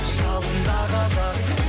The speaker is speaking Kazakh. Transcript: жалында қазақ